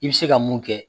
I bɛ se ka mun kɛ